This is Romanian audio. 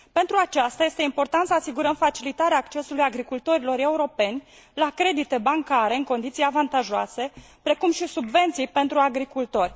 Pentru aceasta este important să asigurăm facilitarea accesului agricultorilor europeni la credite bancare în condiții avantajoase, precum și subvenții pentru agricultori.